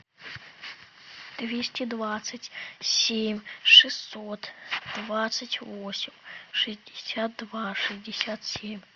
двести двадцать семь шестьсот двадцать восемь шестьдесят два шестьдесят семь